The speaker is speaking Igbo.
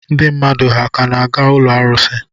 Ndị mmadụ ha ka na-aga ụlọ arụsị?